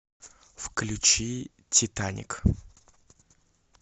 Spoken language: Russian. включи титаник